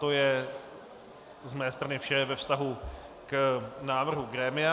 To je z mé strany vše ve vztahu k návrhu grémia.